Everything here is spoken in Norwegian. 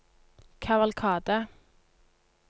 kavalkade